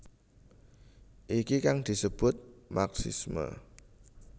Iki kang disebut marxisme